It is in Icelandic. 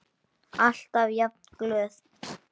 Alltaf jafn glöð.